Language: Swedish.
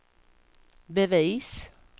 bevis